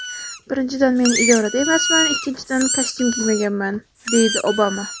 Birinchidan men idorada emasman, ikkinchidan kostyum kiymaganman”, deydi Obama.